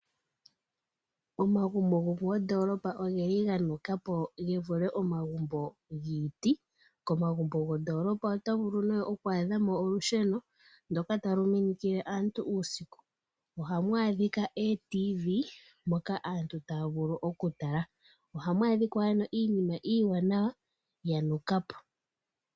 Omagumbo goomondolopa ogeli ganukapo gevule omagumbo ngiiti, komagumbo gondolopa to vulu ne okwadhamo olusheno ndoka taluminikile aantu usiku, ohamu adhika etelemundo moka aantu tayavulu okutala, ohamu adhika ano iinima iwanawa yanukapo.